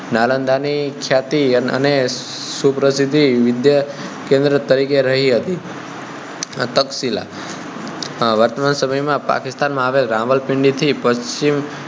નાલંદા ની ખ્યાતિ અને સુપ્રસિદ્ધિ વિદ્યાકેન્દ્ર તરીકે રહી હતી તક્ષશિલા આ વર્તમાન સમય માં પાકિસ્તાન માં આવેલ રાવલપિંડી થી પશ્ચિમે